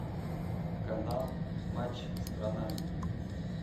канал матч страна